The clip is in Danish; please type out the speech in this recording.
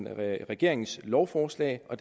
er regeringens lovforslag og